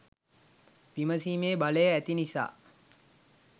විමසීමේ බලය ඇති නිසා